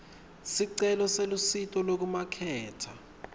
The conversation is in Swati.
sicelo selusito lwekumaketha